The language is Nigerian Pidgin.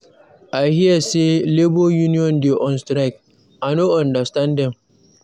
I hear say Labour unión dey on strike. I no understand dem.